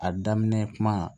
A daminɛ kuma